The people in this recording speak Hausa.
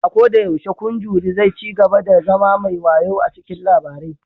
A koda yaushe, kun jury zai cigaba da zama mai wayau cikin labarai